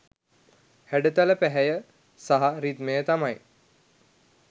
හැඩතල පැහැය සහ රිද්මය තමයි